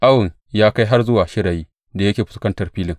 Awon ya kai har zuwa shirayin da yake fuskantar filin.